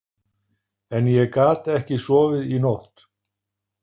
En ég gat ekki sofið í nótt.